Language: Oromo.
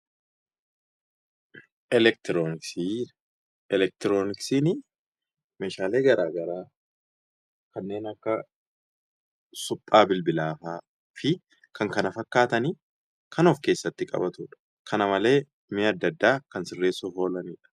Elektiroojiksii. Elektirooniksiini meeshaalee gara garaa kanneen akka suphaa bilbilaa fa'a fi kan kana fakkaatani kan of keessatti qabatu dha. Kana malee mi'a adda addaa sirreessuuf kan oolani dha.